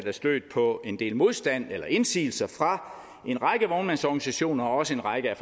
er stødt på en del modstand eller indsigelser fra en række vognmandsorganisationer og også en række af